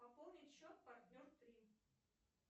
пополнить счет партнер три